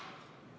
Hea ettekandja!